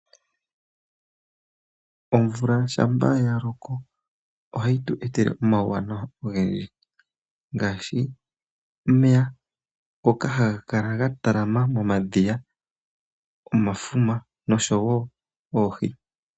Omvula shampa ya loko ohayi tu etele omauwanawa ogendji , ngaashi omeya ngoka haga kala ga talama momadhiya, omafuma noshowo oohi.